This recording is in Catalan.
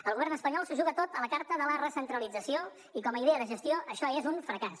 el govern espanyol s’ho juga tot a la carta de la recentralització i com a idea de gestió això és un fracàs